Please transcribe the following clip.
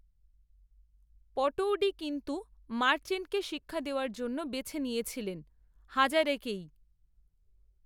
পটৌডি কিন্ত্ত মার্চেন্টকে শিক্ষা দেওয়ার জন্য বেছে নিয়েছিলেন, হাজারেকেই